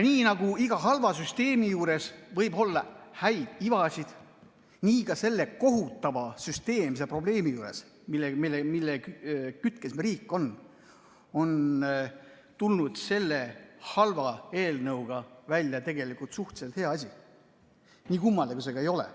Nii nagu iga halva süsteemi juures võib olla häid ivasid, nii ka selle kohutava süsteemse probleemi juures, mille kütkes riik on, on tulnud selle halva eelnõuga välja tegelikult suhteliselt hea asi, nii kummaline kui see ka ei ole.